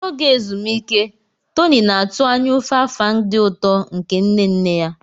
N'oge ezumike, Tony na-atụ anya ofe Afang dị ụtọ nke nne nne ya.